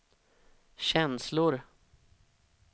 känslor